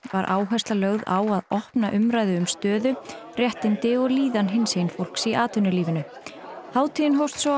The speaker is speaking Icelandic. var áhersla lögð á að opna umræðu um stöðu réttindi og líðan hinsegin fólks í atvinnulífinu hátíðin hófst svo